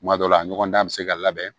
Kuma dɔ la a ɲɔgɔn dan bɛ se ka labɛn